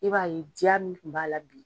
I b'a ye diya min kun b'a la bi.